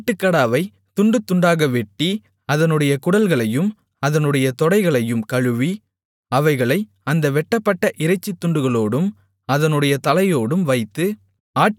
ஆட்டுக்கடாவைத் துண்டு துண்டாக வெட்டி அதனுடைய குடல்களையும் அதனுடைய தொடைகளையும் கழுவி அவைகளை அந்த வெட்டப்பட்ட இறைச்சித் துண்டுகளோடும் அதனுடைய தலையோடும் வைத்து